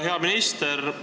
Hea minister!